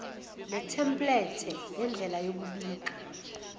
netemplethe yendlela yokubika